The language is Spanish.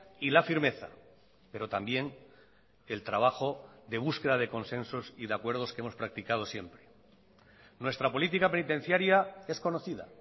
y la firmeza pero también el trabajo de búsqueda de consensos y de acuerdos que hemos practicado siempre nuestra política penitenciaria es conocida